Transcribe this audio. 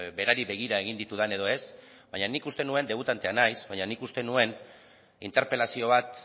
berari begira egin ditudan edo ez baina nik uste nuen debutantea naiz baina nik uste nuen interpelazio bat